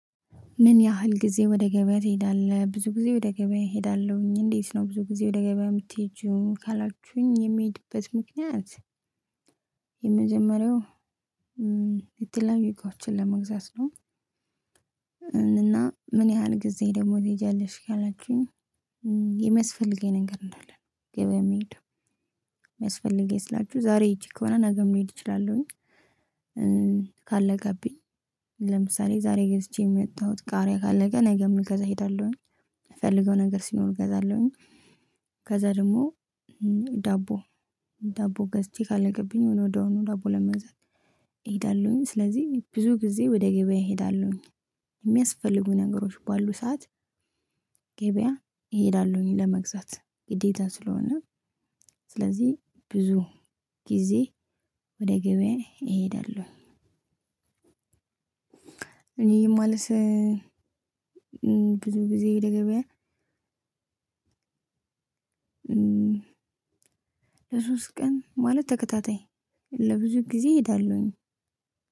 ምን ያህል ጊዜ ወደ ገበያ ትሄዳለህ? ብዙ ጊዜ ወደ ገበያ እሄዳለሁኝ። እንዴት ነው? ብዙ ጊዜ ወደ ገበያ የምትሄጂው ካላችሁኝ የምሄድበት ምክንያት የመጀመሪያው የተለያዩ እቃዎችን ለመግዛት ነው። እና ምን ያህል ጊዜ ደግሞ ትሄጃለሽልሽ ካላችሁኝ። የሚያስፈልገኝ ነገር እንዳለ ገበያ የምሄደው የሚያስፈልገኝ ስላችሁ ዛሬ ሄጄ ከሆነ ነገም ልሄድ እችላለሁኝ። ቃለቀብኝ። ለምሳሌ ዛሬ ገዝቼ የመጣሁት ቃሪያ ካለቀ ነገም ልገዛ እሄዳለሁኝ። የምፈልገው ነገር ሲኖር እገዛለሁኝ። ከዛ ደግሞ ዳቦ ዳቦ ገዝቼ ካለቀብኝ ወዲያውኑ ዳቦ ለመግዛት እሄዳለሁኝ። ስለዚህ ብዙ ጊዜ ወደ ገበያ እሄዳለሁኝ። የሚያስፈልጉ ነገሮች ባሉ ሰዓት ገበያ እሄዳለሁኝ ለመግዛት ግዴታ ስለሆነ ስለዚህ ብዙ ጊዜ ወደ ገበያ እሄዳለሁ። እኔ የማልሰ ብዙ ጊዜ ወደ ገበያ። ለሶስት ቀን ማለት ተከታታይ ለብዙ ጊዜ እሄዳለሁኝ።